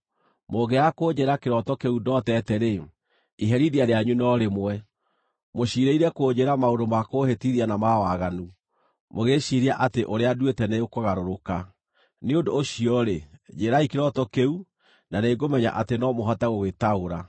Mũngĩaga kũnjĩĩra kĩroto kĩu ndootete-rĩ, iherithia rĩanyu no rĩmwe. Mũciirĩire kũnjĩĩra maũndũ ma kũũhĩtithia na ma waganu, mũgĩĩciiria atĩ ũrĩa nduĩte nĩũkũgarũrũka. Nĩ ũndũ ũcio-rĩ, njĩĩrai kĩroto kĩu, na nĩngũmenya atĩ no mũhote gũgĩtaũra.”